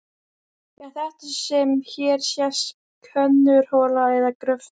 Er þetta sem hér sést könnunarhola eða gröftur?